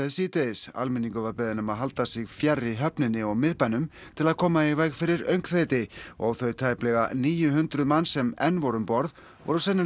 síðdegis almenningur var beðinn að halda sig fjarri höfninni og miðbænum til að koma í veg fyrir öngþveiti og þau tæplega níu hundruð manns sem enn voru um borð voru sennilega